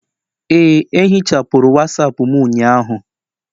Ee, ehichapụrụ wasapu m ụnyaahụ